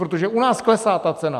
Protože u nás klesá ta cena.